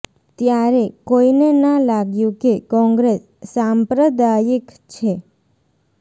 ત્યારે કોઈને ના લાગ્યું કે કોંગ્રેસ સાંપ્રદાયિક છે